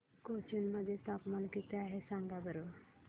कोचीन मध्ये तापमान किती आहे सांगा बरं